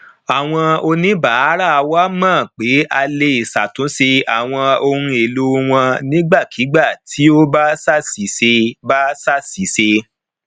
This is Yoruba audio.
àwọn oníbàárà wa mọ pé a lè ṣàtúnṣe àwọn ohun èlò wọn nígbàkigbà tí ó bá ṣàṣìṣe bá ṣàṣìṣe